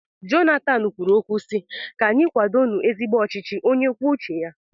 Jonathan kwuru okwu si, 'ka anyị kwado nu ezigbo ọchịchị onye kwuo uche ya'